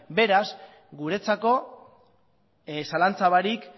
beraz guretzako zalantza barik